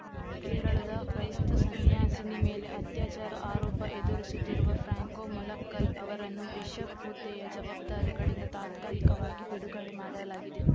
ಕೇರಳದ ಕ್ರೈಸ್ತ ಸನ್ಯಾಸಿನಿ ಮೇಲೆ ಅತ್ಯಾಚಾರ ಆರೋಪ ಎದುರಿಸುತ್ತಿರುವ ಫ್ರಾಂಕೊ ಮುಲಕ್ಕಲ್‌ ಅವರನ್ನು ಬಿಷಪ್‌ ಹುದ್ದೆಯ ಜವಾಬ್ದಾರಿಗಳಿಂದ ತಾತ್ಕಾಲಿಕವಾಗಿ ಬಿಡುಗಡೆ ಮಾಡಲಾಗಿದೆ